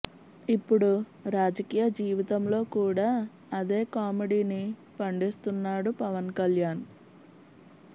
ఇప్పుడు రాజకీయ జీవితంలో కూడా అదే కామెడీని పండిస్తున్నాడు పవన్ కళ్యాణ్